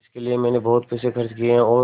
इसके लिए मैंने बहुत पैसे खर्च किए हैं और